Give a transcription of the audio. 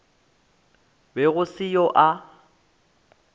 be go se yoo a